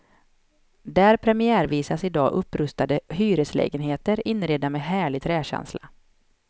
Där premiärvisas i dag upprustade hyreslägenheter, inredda med härlig träkänsla.